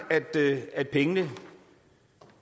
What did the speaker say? at pengene